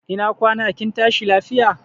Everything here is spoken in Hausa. Ina kwana kin tashi lafiya?